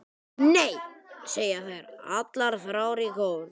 Nei, segja þær allar þrjár í kór.